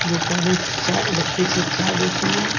जो पहले charge electric से चार्ज होती है।